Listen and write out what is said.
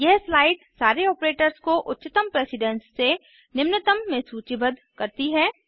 यह स्लाइड सारे ऑपरेटर्स को उच्चतम प्रेसिडेन्स से निम्नतम में सूचीबद्ध करती है